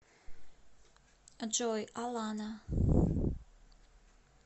джой алана